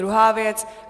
Druhá věc.